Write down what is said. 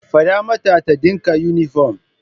Fada mata ta dinka yunifom.